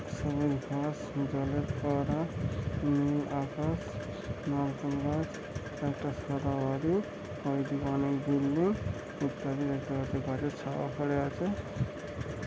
সবুজ ঘাস জলের ফোয়ারা উম আকাশ নারকেল গাছ একটা সাদা বাড়ি হলুদ রঙের বিল্ডিং ইত্যাদি দেখা যাচ্ছে গাছের ছায়া পড়ে আছে ।